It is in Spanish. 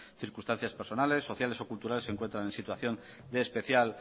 circunstancias personales sociales o culturales se encuentran en situación de especial